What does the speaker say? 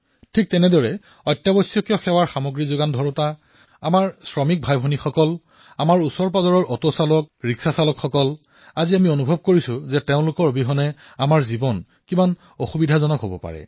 ঠিক সেইদৰে আৱশ্যকীয় সেৱাসমূহৰ যোগান ধৰা লোক বজাৰত কাম কৰা আমাৰ শ্ৰমিক ভাইভনীসকল ওচৰৰপাজৰৰ অটো চালক ৰিক্সা চালক আজি আমি অনুভৱ কৰিছো যে এওঁলোক অবিহনে আমাৰ জীৱন কিমান কঠিন হৈ পৰিব পাৰে